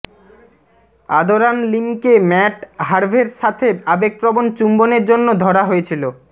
আদরান লিমকে ম্যাট হার্ভেের সাথে আবেগপ্রবণ চুম্বনের জন্য ধরা হয়েছিল